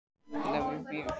Þannig að við bara bíðum.